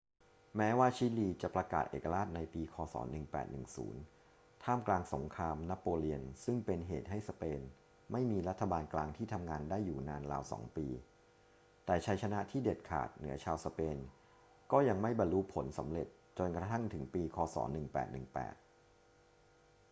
แม้ว่าชิลีจะประกาศเอกราชในปี ค.ศ. 1810 ท่ามกลางสงครามนโปเลียนซึ่งเป็นเหตุให้สเปนไม่มีรัฐบาลกลางที่ทำงานได้อยู่นานราวสองปี แต่ชัยชนะที่เด็ดขาดเหนือชาวสเปนก็ยังไม่บรรลุผลสำเร็จจนกระทั่งถึงปี ค.ศ. 1818